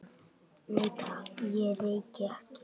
Nei, takk, ég reyki ekki